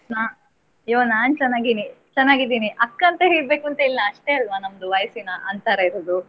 ಹಾ ಇವಾಗ್ ನಾನ್ ಚೆನ್ನಾಗಿನಿ. ಚೆನ್ನಾಗಿದ್ದೀನಿ ಅಕ್ಕ ಅಂತ ಹೇಳಬೇಕು ಅಂತ ಇಲ್ಲ ಅಷ್ಟೇ ಅಲ್ವಾ ನಮ್ದು ವಯಸ್ಸಿನ ಅಂತರ ಇರುದು.